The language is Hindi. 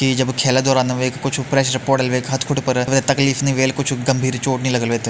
इ जब खेला दौरान वेका कुछ प्रेशर पोड़ल वेका हथ-खुटा पर वे तकलीफ वेल कुछ गंभीर चोट नि लागल वेथें।